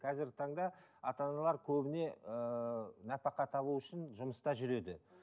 қазіргі таңда ата аналар көбіне ііі нәпақа табу үшін жұмыста жүреді